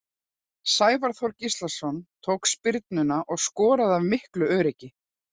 Sævar Þór Gíslason tók spyrnuna og skoraði af miklu öryggi.